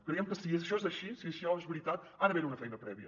creiem que si això és així si això és veritat ha d’haver hi una feina prèvia